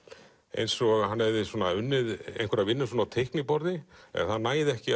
eins og hann hefði unnið vinnu á teikniborði en það næði ekki